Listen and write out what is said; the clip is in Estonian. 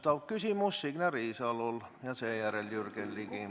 Täpsustav küsimus on Signe Riisalol ja seejärel küsib Jürgen Ligi.